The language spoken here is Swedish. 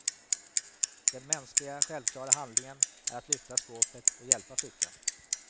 Den mänskliga självklara handlingen är att lyfta skåpet och hjälpa flickan.